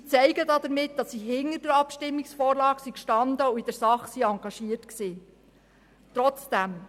Sie zeigten damit, dass sie hinter der Abstimmungsvorlage standen und in der Sache engagiert waren.